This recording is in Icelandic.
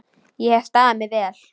Ég hef staðið mig vel.